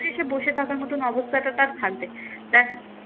সে বসে থাকার মতন অবস্থাটা তার থাকবে